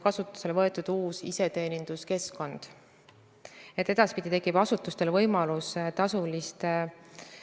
Aga mis puudutab vanemahüvitist ja võimalikku riigipoolset eluasemelaenu käendust, siis selles osas teeme tihedat koostööd majandusminister Taavi Aasaga, riigihalduse ministri Jaak Aabi ja ka maaeluminister Mart Järvikuga.